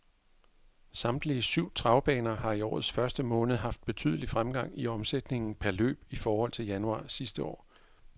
Samtlige syv travbaner har i årets første måned haft betydelig fremgang i omsætningen per løb i forhold til januar sidste år.